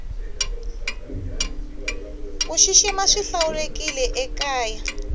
kushishima swihlawurekile ekaya